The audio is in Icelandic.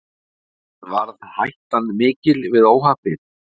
En varð hættan mikil við óhappið?